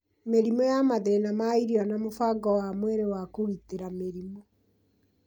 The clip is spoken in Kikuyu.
Mĩrimũ ya mathĩna ma irio na mũbango wa mwĩrĩ wa kũgitĩra mĩrimũ